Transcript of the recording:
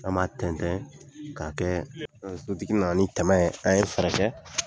An m'a tɛntɛn k'a kɛ, sotigi naani tɛmɛn ye. an ye fɛɛrɛ kɛ